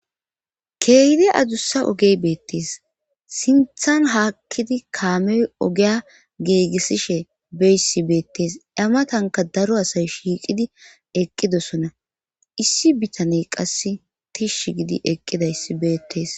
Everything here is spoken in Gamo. Keeydi adussa ogey beettes sinthan haakkidi kaamey ogeya geegisishe beyssi beettes amatanka daro asay shiiqidi eqqidosona issi bitaney qass tish gidi eqqidayssi beettees.